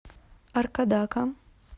аркадака